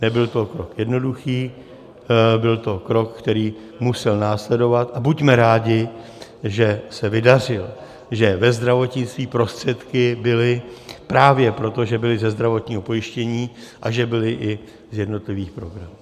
Nebyl to krok jednoduchý, byl to krok, který musel následovat, a buďme rádi, že se vydařil, že ve zdravotnictví prostředky byly právě proto, že byly ze zdravotního pojištění a že byly i z jednotlivých programů.